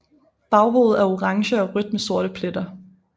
Baghovedet er orange og rødt med sorte pletter